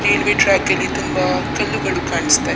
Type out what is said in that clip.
railway track ಅಲ್ಲಿ ತುಂಬ ಕಲ್ಲುಗಳು ಕಾಣಿಸ್ತ --